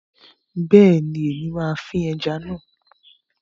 Bẹ́ẹ̀ni, Èmi máa fín ẹja náà